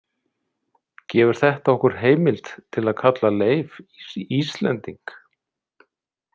Gefur þetta okkur heimild til að kalla Leif Íslending?